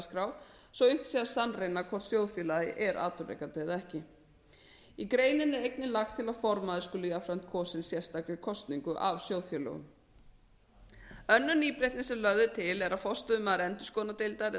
sé að sannreyna hvort sjóðfélagi er atvinnurekandi eða ekki í greininni er einnig lagt til að formaður skuli jafnframt kosinn sérstakri kosningu af sjóðfélögum önnur nýbreytni sem lögð er til er að forstöðumaður endurskoðunardeildar eða